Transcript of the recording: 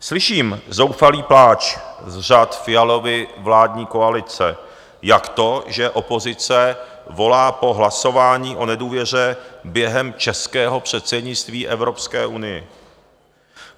Slyším zoufalý pláč z řad Fialovy vládní koalice, jak to, že opozice volá po hlasování o nedůvěře během českého předsednictví Evropské unii?